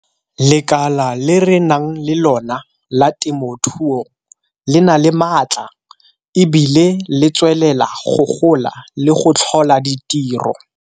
Lekala le re nang le lona la temothuo le na le maatla e bile le tswelela go gola le go tlhola ditiro.